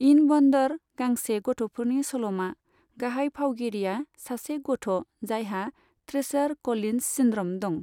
इन wonder, गांसे गथ'फोरनि सल'मा, गाहाय फावगिरिया सासे गथ' जायहा ट्रेचर क'लिन्स सिन्ड्र'म दं।